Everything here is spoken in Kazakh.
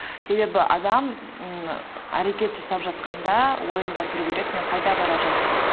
себебі адам ммм әрекет жасап жатқанда ойында тұру керек мен қайда бара жатырмын